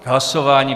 K hlasování?